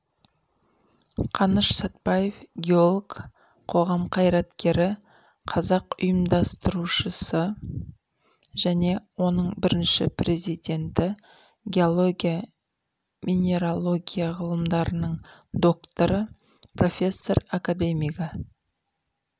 қаныш сатпаев геолог қоғам қайраткері қазақ ұйымдастырушысы және оның бірінші президенті геология-минерология ғылымдарының докторы профессор академигі